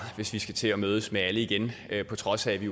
hvis vi skal til at mødes med alle igen på trods af at vi